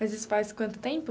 Mas isso faz quanto tempo?